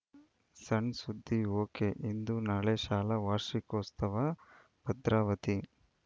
ಸಣ್‌ಸುದ್ದಿ ಒಕೆಇಂದು ನಾಳೆ ಶಾಲಾ ವಾರ್ಷಿಕೋತ್ಸವ ಭದ್ರಾವತಿ